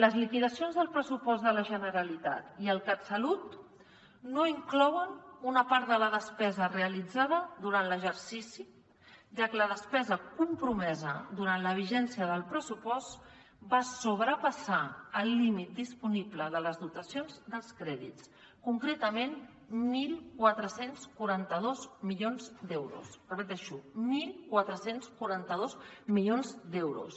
les liquidacions del pressupost de la generalitat i el catsalut no inclouen una part de la despesa realitzada durant l’exercici ja que la despesa compromesa durant la vigència del pressupost va sobrepassar el límit disponible de les dotacions dels crèdits concretament catorze quaranta dos milions d’euros ho repeteixo catorze quaranta dos milions d’euros